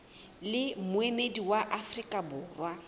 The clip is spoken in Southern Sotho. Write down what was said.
le moemedi wa afrika borwa